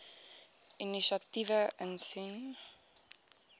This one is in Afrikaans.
inisiatiewe insien